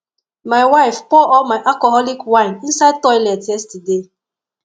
my wife pour all my alcoholic wine inside toilet yesterday